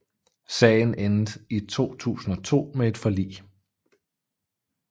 Sagen endte i 2002 med et forlig